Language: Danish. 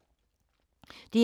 DR2